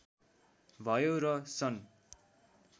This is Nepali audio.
भयो र सन्